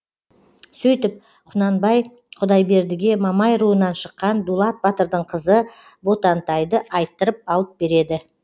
сөйтіп құнанбай құдайбердіге мамай руынан шыққан дулат батырдың қызы ботантайды айттырып алып береді